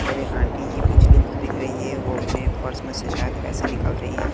और एक आंटी जी मछली खरीद रही है वो अपने पर्स में से शायद पैसे निकाल रही है।